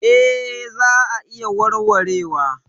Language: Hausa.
Eh za a iya warwarewa.